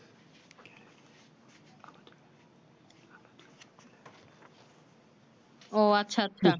ও আচ্ছা আচ্ছা